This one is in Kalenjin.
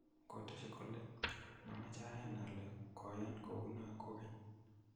Kateshin kole,"mamache ayan ale koyan kou no kogen."